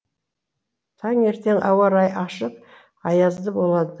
таңертең ауа райы ашық аязды болады